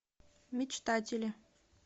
мечтатели